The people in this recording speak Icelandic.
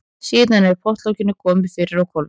Síðan er pottlokinu komið fyrir á hvolfi.